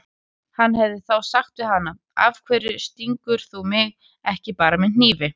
Hann hefði þá sagt við hana: Af hverju stingur þú mig ekki bara með hnífi?